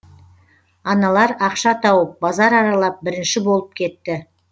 аналар ақша тауып базар аралап бірінші болып кетті